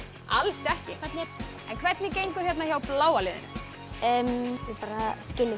alls ekki hvernig gengur hérna hjá bláa liðinu við bara skiljum